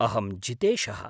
अहम् जितेशः।